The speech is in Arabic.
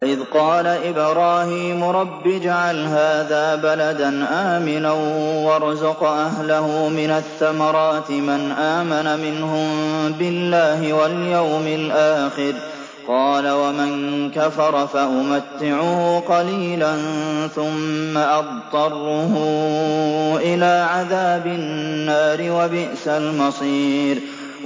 وَإِذْ قَالَ إِبْرَاهِيمُ رَبِّ اجْعَلْ هَٰذَا بَلَدًا آمِنًا وَارْزُقْ أَهْلَهُ مِنَ الثَّمَرَاتِ مَنْ آمَنَ مِنْهُم بِاللَّهِ وَالْيَوْمِ الْآخِرِ ۖ قَالَ وَمَن كَفَرَ فَأُمَتِّعُهُ قَلِيلًا ثُمَّ أَضْطَرُّهُ إِلَىٰ عَذَابِ النَّارِ ۖ وَبِئْسَ الْمَصِيرُ